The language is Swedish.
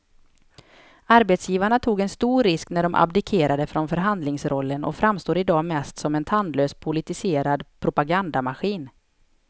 Arbetsgivarna tog en stor risk när de abdikerade från förhandlingsrollen och framstår i dag mest som en tandlös politiserad propagandamaskin.